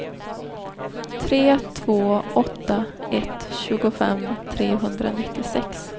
tre två åtta ett tjugofem trehundranittiosex